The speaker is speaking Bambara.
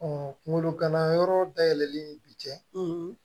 kungolo gana yɔrɔ dayɛlɛlen bi cɛ